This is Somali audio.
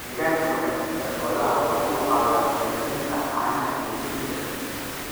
Deegaanka wanaagsan ee xooluhu waxa uu caawiyaa horumarinta caanaha iyo hilibka.